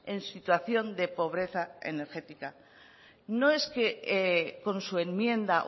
en situación de pobreza energética no es que con su enmienda